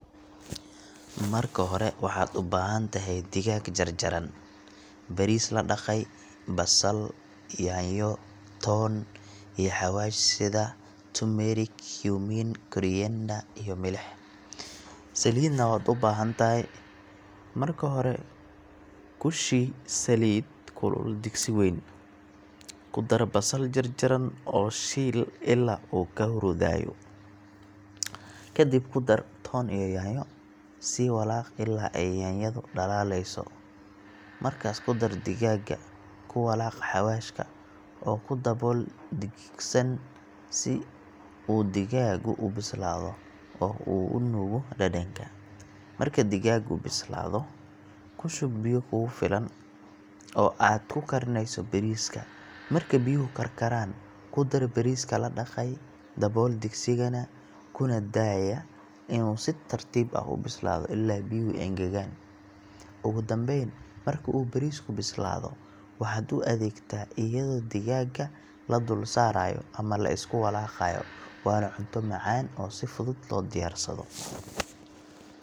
Si aad u sameyso bariis digaag leh, marka hore waxaad u baahan tahay digaag jarjaran, bariis la dhaqay, basal, yaanyo, toon, iyo xawaash sida: turmerik, cumin, koriander, iyo milix. Saliidna waad u baahan tahay. Marka hore, ku shii saliid kulul digsi wayn. Ku dar basal jarjaran oo shiil ilaa uu ka huruudayo. Ka dib ku dar toon iyo yaanyo, sii walaaq ilaa ay yaanyadu dhalaalayso. Markaas ku dar digaagga, ku walaaq xawaashka, oo ku dabool digsigana si uu digaaggu u bislaado oo uu u nuugo dhadhanka. Marka digaaggu bislaado, ku shub biyo kugu filan oo aad ku karinayso bariiska. Marka biyuhu karkaraan, ku dar bariiska la dhaqay, dabool digsigana, kuna daaya inuu si tartiib ah u bislaado ilaa biyuhu engegaan. Ugu dambayn, marka uu bariisku bislaado, waxaad u adeegtaa iyadoo diggaagga la dul saarayo ama la isku walaaqayo waana cunto macaan oo si fudud loo diyaarsado.